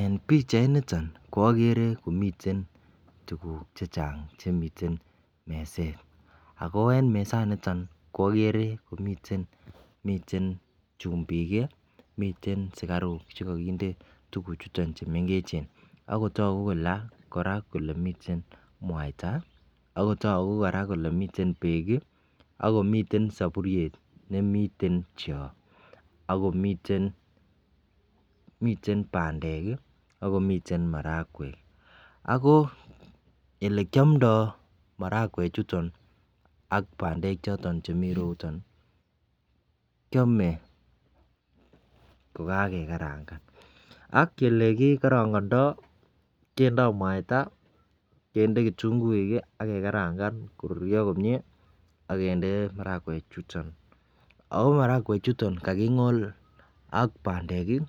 En pichainiton ko okere komiten tukuk chechang chemiten meset ako en mesaniton okere komiten miten chumbik kii, miten sukaruk chekokinde tukuchuton chu mengechen akotoku Koraa kole miten muaita akotoku Koraa kole miten beek kii, ak komiten soburyet nemiten choo akomiten miten pandek kii akomiten marawek. Ako ele kiomdo marawek chuton ak pandek choton chemii roruton nii kiome kokakekaranga ak ele kikorongondo kindo muaita kende kitunguuk kii ak kekaranga koruryo komie akinde marawek chuton. AK marakwek chuton kakingol ak pandek kii